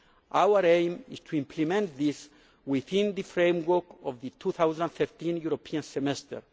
Our aim is to implement this within the framework of the 2015 European Semester.